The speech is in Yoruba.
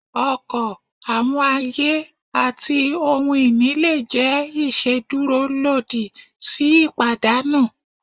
ọkọ, awọn aye, ati ohun ini le jẹ iṣeduro lodi si ipadanu.